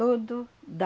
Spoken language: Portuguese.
dá.